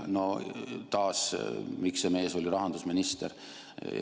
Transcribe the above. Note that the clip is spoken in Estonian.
No taas: miks see mees oli rahandusminister?